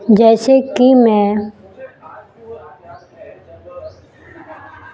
जैसे कि मैं--